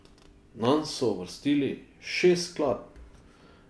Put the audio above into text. Nanj so uvrstili šest skladb.